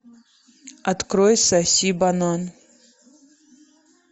открой соси банан